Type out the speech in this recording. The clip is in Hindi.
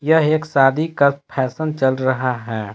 यह एक शादी का फैशन चल रहा है।